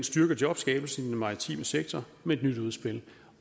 styrkede jobskabelsen i den maritime sektor med det nye udspil